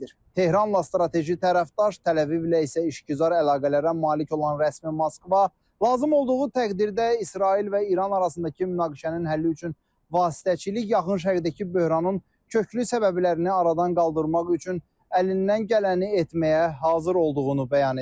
Tehranla strateji tərəfdaş, Təl-Əvivlə isə işgüzar əlaqələrə malik olan rəsmi Moskva lazım olduğu təqdirdə İsrail və İran arasındakı münaqişənin həlli üçün vasitəçilik, Yaxın Şərqdəki böhranın köklü səbəblərini aradan qaldırmaq üçün əlindən gələni etməyə hazır olduğunu bəyan edib.